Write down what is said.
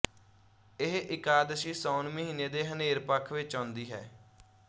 ਇਹ ਇਕਾਦਸ਼ੀ ਸਾਉਣ ਮਹੀਨੇ ਦੇ ਹਨੇਰ ਪੱਖ ਵਿੱਚ ਆਉਂਦੀ ਹੈ